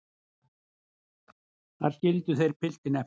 Þar skildu þeir piltinn eftir.